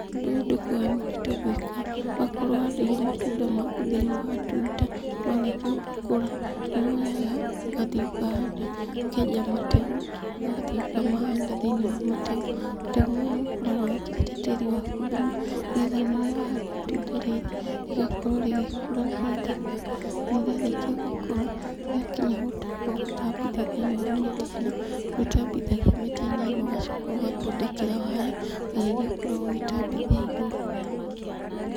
Ũndũ ũyũ ndukoragwo wĩ mũrĩtũ gũĩka, wakorwo ũhandĩire matunda maku thiĩniĩ wa tuta, marĩkia gũkura, nĩ woyaga ũgathiĩ ũkahanda, ũkenja mategũ, ũgathiĩ ukamahanda thĩiniĩ wa mategũ. Mategũ mau ũkoragwo wĩ kĩrĩte tĩri waku thumu nĩ getha ona rĩrĩa wahanda itunda rĩrĩ, rĩgakorwo rĩgĩkũra rĩrĩithaka, na rĩarĩkia gũkũra, rĩakinya gũtamba ũgatambithia thĩiniĩ wa mĩtĩ ĩno. Nĩ ũtambithagia mĩti-inĩ ĩno ũgacoka ũgathondekera waya, waya ĩrĩa ũkoragwo ũgĩtambithia ĩgũrũ.